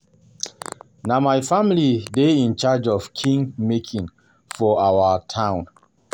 Na my family dey in charge of King making for our our Town